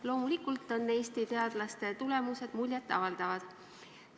Loomulikult on Eesti teadlaste tulemused muljet avaldavad.